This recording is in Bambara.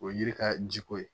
O ye yiri ka jiko ye